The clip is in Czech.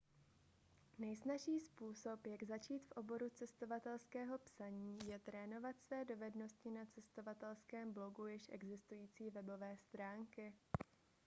nejsnazší způsob jak začít v oboru cestovatelského psaní je trénovat své dovednosti na cestovatelském blogu již existující webové stránky